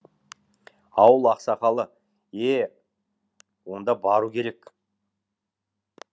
ауыл ақсақалы е онда бару керек